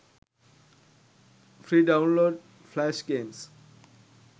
free download flash games